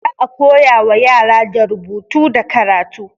Za a koya wa yara da rubutu da karatu.